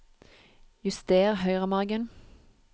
Juster høyremargen